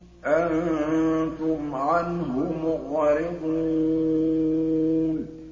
أَنتُمْ عَنْهُ مُعْرِضُونَ